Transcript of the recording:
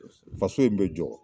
Faso in bɛ jɔ.